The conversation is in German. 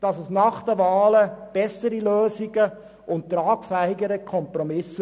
Nach den Wahlen gäbe es sicher bessere Lösungen und einen tragfähigeren Kompromiss.